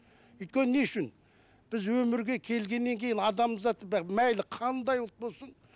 өйткені не үшін біз өмірге келгеннен кейін адам заты мәйлі қандай ұлт болсын